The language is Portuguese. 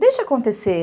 Deixa acontecer.